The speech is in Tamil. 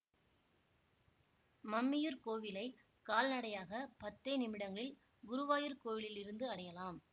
மம்மியூர் கோவிலை கால்நடையாக பத்தே நிமிடங்களில் குருவாயூர் கோவிலில் இருந்து அடையலாம்